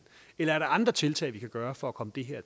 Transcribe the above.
eller er der andre tiltag vi kan gøre for at komme det her